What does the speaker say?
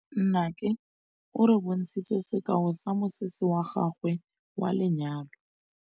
Nnake o re bontshitse sekaô sa mosese wa gagwe wa lenyalo.